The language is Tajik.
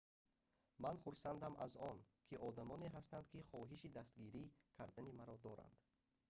ман хурсандам аз он ки одамоне ҳастанд ки хоҳиши дастгирӣ кардани маро доранд